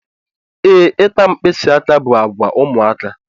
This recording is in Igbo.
Ee, ịta mkpisi aka bụ àgwà ụmụaka.